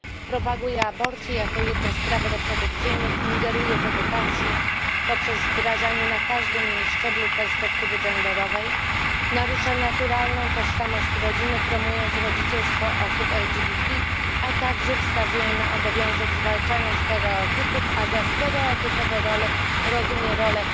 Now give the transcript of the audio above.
Propaguje aborcję jako jedno z praw reprodukcyjnych, ingeruje w edukację, poprzez wdrażanie na każdym jej szczeblu perspektywy genderowej, narusza naturalną tożsamość rodziny, promując rodzicielstwo osób LGBT, a także wskazuje na obowiązek zwalczania stereotypów, a za stereotypowe role rozumie rolę